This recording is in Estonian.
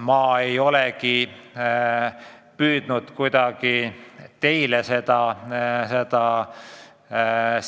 Ma ei ole kuidagi püüdnud teile seda